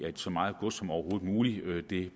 at så meget gods som overhovedet muligt